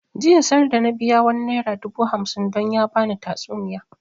Jiya sarda na biya wani naira dubu hamsin don ya bani tatsuniya